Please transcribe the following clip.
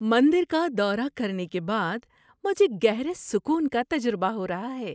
مندر کا دورہ کرنے کے بعد مجھے گہرے سکون کا تجربہ ہو رہا ہے۔